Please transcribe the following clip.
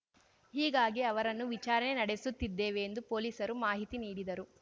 ಹೀಗಾಗಿ ಅವರನ್ನು ವಿಚಾರಣೆ ನಡೆಸುತ್ತಿದ್ದೇವೆ ಎಂದು ಪೊಲೀಸರು ಮಾಹಿತಿ ನೀಡಿದರು